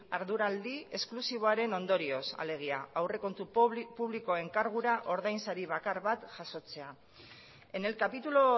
arduraldi esklusiboaren ondorioz alegia aurrekontu publikoen kargura ordainsari bakar bat jasotzea en el capítulo